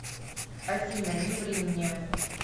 афина не ври мне